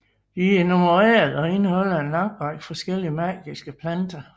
De er nummererede og indeholder en lang række forskellige magiske planter